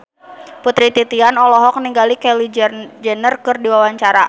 Putri Titian olohok ningali Kylie Jenner keur diwawancara